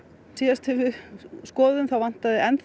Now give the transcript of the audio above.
síðast þegar við skoðuðum þá vantaði